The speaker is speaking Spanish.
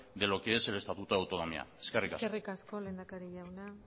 de lo que es el estatuto de autonomía eskerrik asko eskerrik asko lehendakari jauna